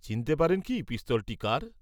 চিনতে পারেন কি পিস্তলটি কার?